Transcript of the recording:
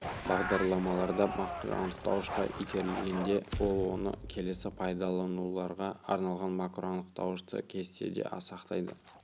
бағдарламаларда макроанықтауышқа итерілгенде ол оны келесі пайдалануларға арналған макроанықтауышты кестеде сақтайды